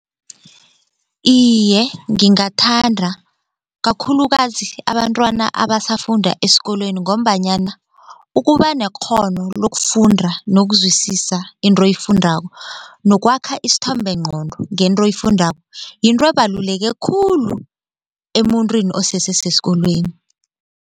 Iye, ngingathanda kakhulukazi abantwana abasafunda esikolweni ngombanyana ukuba nekghono lokufunda nokuzwisisa into oyifundako nokwakha isithombenqqondo ngento oyifundako yinto ebaluleke khulu emuntwini osese sesikolweni.